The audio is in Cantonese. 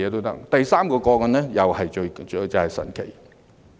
第三宗個案，又是相當神奇的。